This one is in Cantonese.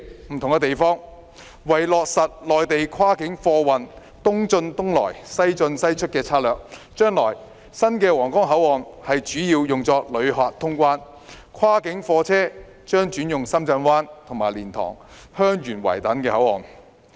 不同的地方是落實內地跨境貨運"東進東出、西進西出"的策略，將來新的皇崗口岸主要是用作旅客通關，跨境貨車將轉用深圳灣和蓮塘/香園圍等口岸。